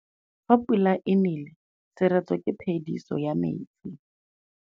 Fa pula e nelê serêtsê ke phêdisô ya metsi.